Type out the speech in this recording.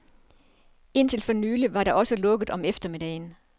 Indtil for nylig var der også lukket om eftermiddagen.